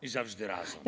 Suur tänu!